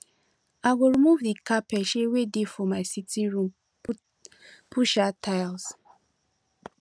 i go remove the carpet um wey dey for my sitting room put um tile